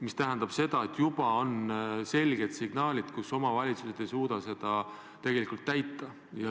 See tähendab, et juba on selged signaalid, et omavalitsused ei suuda seda tegelikult täita.